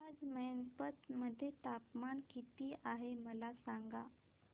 आज मैनपत मध्ये तापमान किती आहे मला सांगा